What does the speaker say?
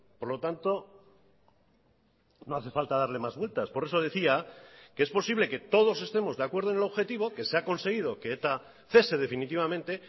por lo tanto no hace falta darle más vueltas por eso decía que es posible que todos estemos de acuerdo en el objetivo que se ha conseguido que eta cese definitivamente